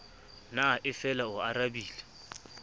na e fela o arabile